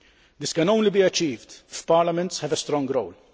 This can only be achieved if parliaments have a strong role.